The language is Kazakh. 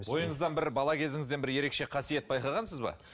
бойыңыздан бір бала кезіңізден бір ерекше қасиет байқағансыз ба